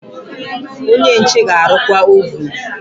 Onye nche ga-arụkwa ovun.